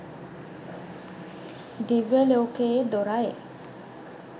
දිව්‍යලෝකයේ දොර යි